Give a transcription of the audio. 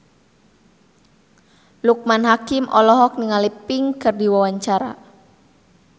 Loekman Hakim olohok ningali Pink keur diwawancara